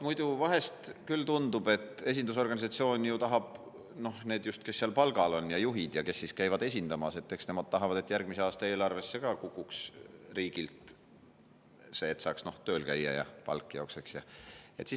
Muidu küll tundub, et esindusorganisatsioon ju tahab, need just, kes seal palgal on, kes seal juhid on ja kes käivad esindamas, nemad tahavad, et järgmise aasta eelarvesse kukuks ka riigilt see, et saaks tööl käia ja palk jookseks.